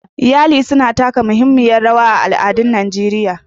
Iyali suna taka muhimmiyar rawa a al'adun Najeriya.